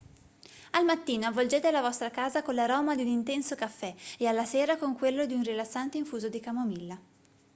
al mattino avvolgete la vostra casa con l'aroma di un intenso caffè e alla sera con quello di un rilassante infuso di camomilla